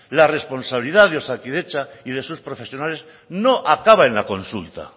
la responsabilidad de osakidetza y de sus profesionales no acaba en la consulta